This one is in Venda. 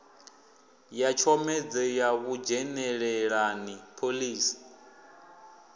ya tshomedzo ya vhudzhenelelani phoḽisi